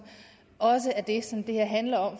også er det som det her handler om